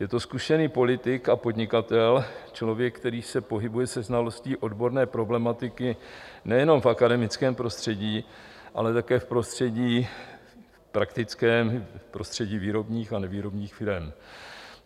Je to zkušený politik a podnikatel, člověk, který se pohybuje se znalostí odborné problematiky nejenom v akademickém prostředí, ale také v prostředí praktickém, v prostředí výrobních a nevýrobních firem.